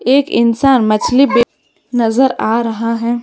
एक इंसान मछली बेच नजर आ रहा है।